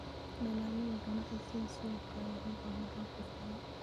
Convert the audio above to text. Dalagyada ganacsiga sida suufka ayaa u baahan roob ku filan.